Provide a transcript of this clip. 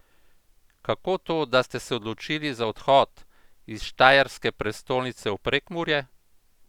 Kako to, da ste se odločili za odhod iz štajerske prestolnice v Prekmurje?